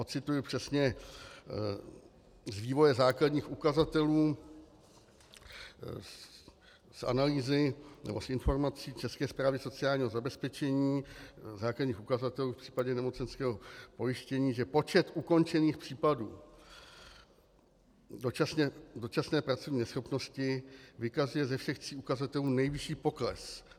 Ocituji přesně z vývoje základních ukazatelů, z analýzy nebo z informací České správy sociálního zabezpečení základních ukazatelů v případě nemocenského pojištění, že "počet ukončených případů dočasné pracovní neschopnosti vykazuje ze všech tří ukazatelů nejvyšší pokles.